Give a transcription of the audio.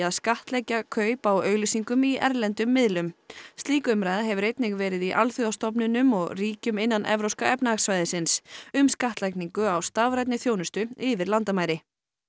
skattleggja kaup á auglýsingum í erlendum miðlum slík umræða hefur einnig verið í alþjóðastofnunum og ríkjum innan Evrópska efnahagssvæðisins um skattlagningu á stafrænni þjónustu yfir landamæri